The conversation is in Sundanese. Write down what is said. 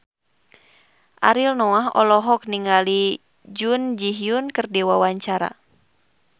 Ariel Noah olohok ningali Jun Ji Hyun keur diwawancara